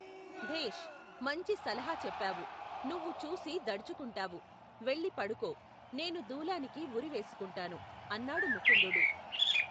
భేష్ ! మంచి సలహ చెప్పావు ! నువ్వు చూసి దడుచుకుంటావు, వెళ్ళి పడుకో. నేను దూలానికి ఉరి వేసుకుంటాను ! అన్నాడు ముకుందుడు.